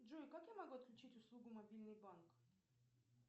джой как я могу отключить услугу мобильный банк